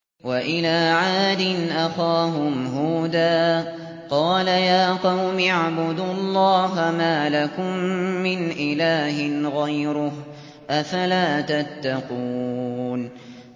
۞ وَإِلَىٰ عَادٍ أَخَاهُمْ هُودًا ۗ قَالَ يَا قَوْمِ اعْبُدُوا اللَّهَ مَا لَكُم مِّنْ إِلَٰهٍ غَيْرُهُ ۚ أَفَلَا تَتَّقُونَ